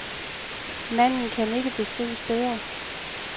Manden kan ikke beskrives bedre.